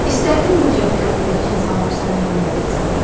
İstərdinmi ki, ətrafındakı insanlar sənə hörmət etsinlər?